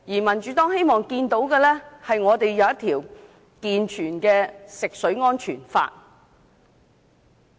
民主黨希望香港訂立一套健全的食水安全法。